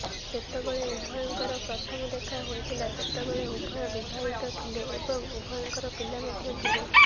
ଯେତେବେଳେ ଉଭୟଙ୍କ ପ୍ରଥମ ଦେଖା ହୋଇଥିଲା ସେତେବେଳେ ଉଭୟ ବିବାହିତ ଥିଲେ ଏବଂ ଉଭୟଙ୍କର ପିଲା ମଧ୍ୟ ଥିଲେ